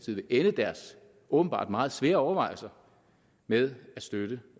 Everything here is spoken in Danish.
vil ende deres åbenbart meget svære overvejelser med at støtte